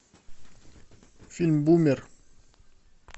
фильм бумер